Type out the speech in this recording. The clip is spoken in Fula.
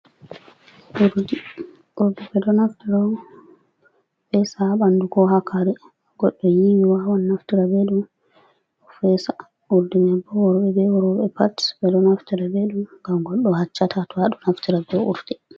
Urdi, urdi ɓeɗo naftira on pesa ha ɓandu ko ha kare goɗɗo yiwi wawan naftura be ɗum fesa urdi man bo worbee be roɓɓe pat ɓeɗo naftura be ɗum gam goɗɗo haccata to aɗo naftura be urdi.